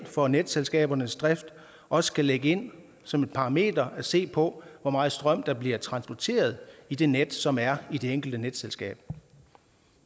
for netselskabernes drift også skal lægge ind som en parameter at se på hvor meget strøm der bliver transporteret i det net som er i det enkelte netselskab